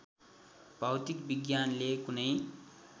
भौतिक विज्ञानले कुनै